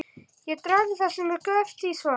Þeir draga það sem er göfugt í svaðið.!